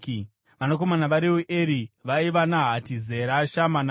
Vanakomana vaReueri vaiva: Nahati, Zera, Shama naMiza.